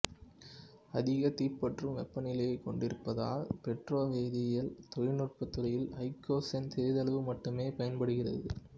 அதிகதீப்பற்றும் வெப்பநிலையைக் கொண்டிருப்பதால் பெட்ரோவேதியியல் தொழிற்துறையில் ஐகோசேன் சிறிதளவு மட்டுமே பயன்படுகிறது